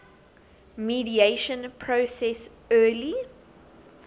mediation process early